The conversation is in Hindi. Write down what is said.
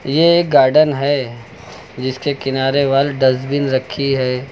ये एक गार्डन है जिसके किनारे वल डस्टबिन रखी है।